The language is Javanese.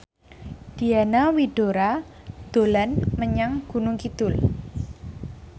Diana Widoera dolan menyang Gunung Kidul